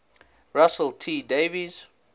russell t davies